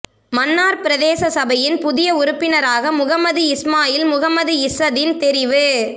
மன்னார் பிரதேச சபையின் புதிய உறுப்பினராக முஹம்மது இஸ்மாயில் முஹம்மது இஸ்ஸதீன் தெரிவு